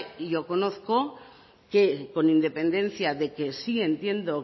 y yo conozco que con independencia de que sí entiendo